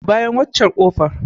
A bayan waccen ƙofar.